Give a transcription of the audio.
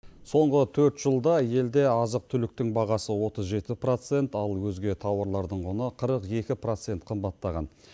соңғы төрт жылда елде азық түліктің бағасы отыз жеті процент ал өзге тауарлардың құны қырық екі процент қымбаттаған